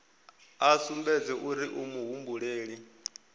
a sumbedze uri u muhumbeli